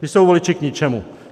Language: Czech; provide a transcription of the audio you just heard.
Ta jsou voliči k ničemu.